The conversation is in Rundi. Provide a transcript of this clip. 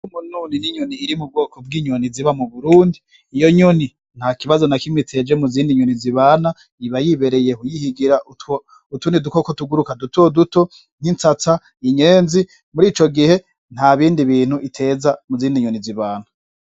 Mo nuni n'inyoni iri mu bwoko bw'inyoni ziba mu burundi iyo nyoni nta kibazo na kimwa iteje mu zindi nyoni zibana iba yibereye huyihigira uutuni dukoko tuguruka dutoduto nk'insatsa inyenzi muri ico gihe nta bindi bintu iteza mu zindi nyoni zibana.